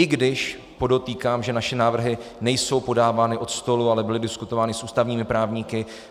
I když podotýkám, že naše návrhy nejsou podávány od stolu, ale byly diskutovány s ústavními právníky.